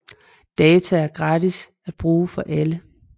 Data der er gratis at bruge for alle